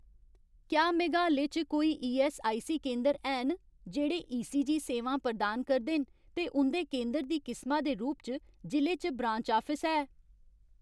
क्या मेघालय च कोई ईऐस्सआईसी केंदर हैन जेह्ड़े ईसीजी सेवां प्रदान करदे न ते उं'दे केंदर दी किसमा दे रूप च जि'ले च ब्रांच आफिस है ?